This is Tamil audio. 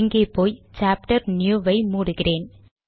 இங்கே போய் chapter நியூ ஐ மூடுகிறேன்